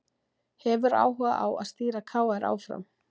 Hefur áhuga á stýra KR áfram